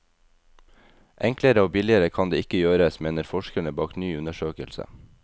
Enklere og billigere kan det ikke gjøres, mener forskerne bak ny undersøkelse.